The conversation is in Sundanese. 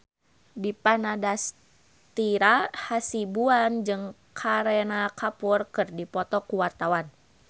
Dipa Nandastyra Hasibuan jeung Kareena Kapoor keur dipoto ku wartawan